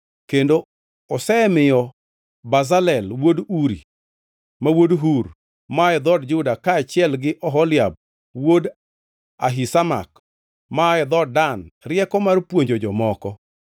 Kendo osemiyo Bazalel, wuod Uri, ma wuod Hur, maa e dhood Juda kaachiel gi Oholiab wuod Ahisamak maa e dhood Dan rieko mar puonjo jomoko.